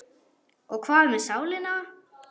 Og hvað með sálina?